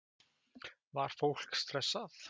Var fólk stressað?